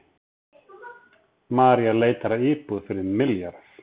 Maria leitar að íbúð fyrir milljarð